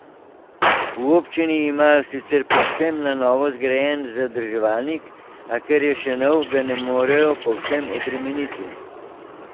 V občini imajo sicer povsem na novo zgrajen zadrževalnik, a ker je še nov, ga ne morejo povsem obremeniti.